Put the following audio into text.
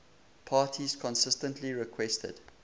parties consistently requested